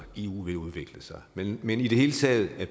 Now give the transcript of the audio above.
eu vil udvikle sig men men i det hele taget det